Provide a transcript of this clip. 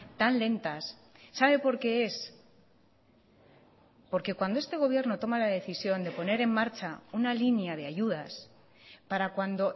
tan lentas sabe por qué es porque cuando este gobierno toma la decisión de poner en marcha una línea de ayudas para cuando